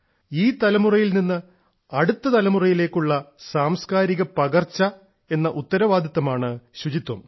ഈ തലമുറയിൽ നിന്ന് അടുത്ത തലമുറയിലേക്കുള്ള സാംസ്കാരിക പകർച്ച എന്ന ഉത്തരവാദിത്വമാണ് ശുചിത്വം